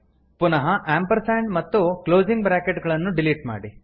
ಪುನಃ ಆಂಪರ್ಸಾಂಡ್ ಮತ್ತು closing bracket ಗಳನ್ನು ಡಿಲೀಟ್ ಮಾಡಿ